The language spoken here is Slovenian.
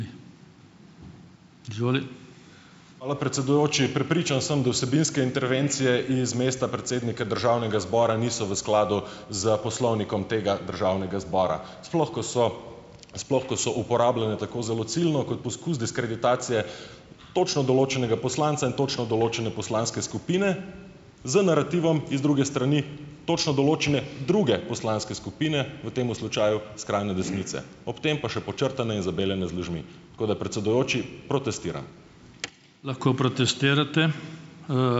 Hvala, predsedujoči. Prepričan sem, da vsebinske intervencije z mesta predsednika državnega zbora niso v skladu s poslovnikom tega državnega zbora, sploh ko so, sploh ko so uporabljene tako zelo ciljno kot poskus diskreditacije točno določenega poslanca in točno določene poslanske skupine, z narativom z druge strani točno določene druge poslanske skupine, v tem slučaju skrajne desnice. Ob tem pa še podčrtane in zabeljene z lažmi. Tako da, predsedujoči, protestiram.